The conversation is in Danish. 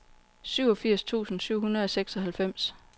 syvogfirs tusind syv hundrede og seksoghalvfems